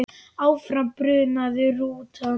Áfram brunaði rútan.